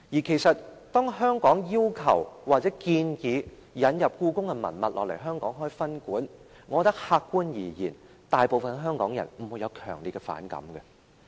其實，當香港要求或建議把故宮的文物引入香港開設分館，我覺得客觀而言，大部分香港人不會有強烈反感。